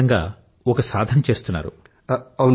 మీరు నిజంగా ఒక సాధన్ చేస్తున్నారు